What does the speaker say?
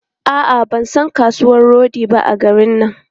A'a, ban san kasuwan rodi ba a garin nan.